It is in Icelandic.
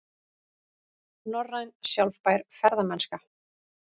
Norræn sjálfbær ferðamennska